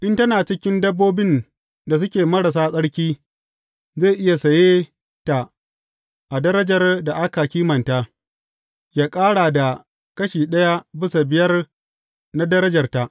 In tana cikin dabbobin da suke marasa tsarki, zai iya saye ta a darajar da aka kimanta, yă ƙara da kashi ɗaya bisa biyar na darajarta.